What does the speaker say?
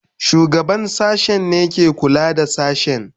Shugaban sashen ne ke kula da sashen.